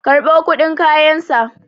karɓo kudin kayansa!